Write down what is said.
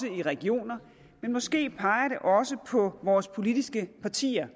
i regioner men måske peger det også på vores politiske partier